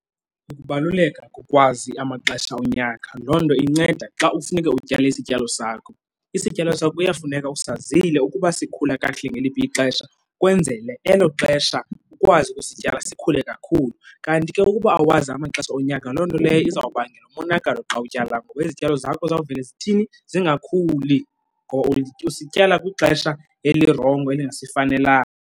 Ukubaluleka kokwazi amaxesha unyaka, loo nto inceda xa kufuneka utyale isityalo sakho. Isityalo sakho kuyafuneka usazile ukuba sikhula kakuhle ngeliphi ixesha kwenzele elo xesha ukwazi ukusityala sikhule kakhulu. Kanti ke ukuba awazi amaxesha onyaka, loo nto leyo izawubangela umonakalo xa utyala. Ngoba izityalo zakho zawuvele zithini? Zingakhuli ngoba usityala kwixesha elirongo elingasifanelanga.